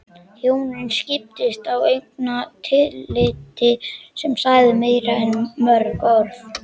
Hjónin skiptust á augnatilliti sem sagði meira en mörg orð.